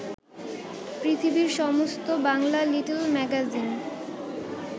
পৃথিবীর সমস্ত Bangla little magazine